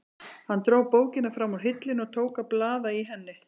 Hann dró bókina fram úr hillunni og tók að blaða í henni.